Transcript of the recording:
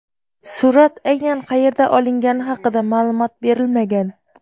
Surat aynan qayerda olingani haqida ma’lumot berilmagan.